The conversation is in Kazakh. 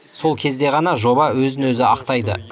сол кезде ғана жоба өзін өзі ақтайды